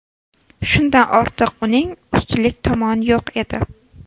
Shundan ortiq uning ustunlik tomoni yo‘q edi.